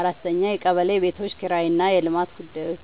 4. የቀበሌ ቤቶች ኪራይና የልማት ጉዳዮች